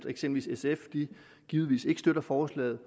eksempel sf givetvis ikke støtter forslaget